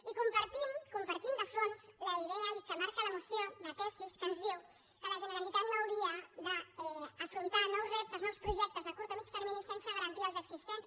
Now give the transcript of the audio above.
i compartim compartim de fons la idea i que marca la moció la tesis que ens diu que la generalitat no hauria d’afrontar nous reptes nous projectes a curt o a mitjà termini sense garantir els existents